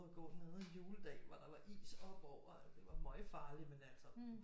At gå nede en juledag hvor der var is oppe over det var møgfarligt men altså